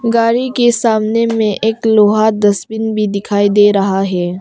गाड़ी के सामने में एक लोहा डस्टबिन भी दिखाई दे रहा है।